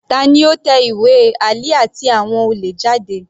Tani ó tẹ ìwé Ali àti àwọn olè jáde?